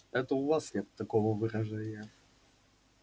это у вас нет такого выражения